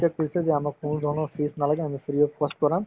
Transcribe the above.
তেওঁলোকে কৈছে যে আমাক কোনো ধৰণৰ fees নালাগে আমি free of cost পঢ়াম